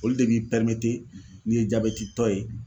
Olu de b'i n'i ye jabɛtitɔ ye